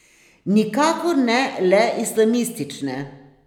Nikakor ne le islamistične.